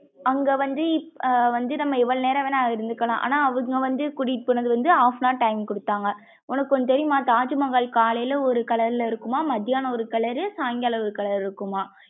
அங்க வந்து ஆஹ் வந்து நம்ம எவ்ளோ நேரம் வேணாம் இருந்துக்கலாம் ஆனா அவுங்க வந்து கூடிட்டி போனது வந்து half hour time குடுத்தாங்க உனக்கு ஒன்னு தெரியும்மா தாஜ்மஹால் காலையில ஒரு colour ல இருக்கும்மா மதியானம் ஒரு colour ரு சாயங்காலம் ஒரு colour ல இருக்குமா?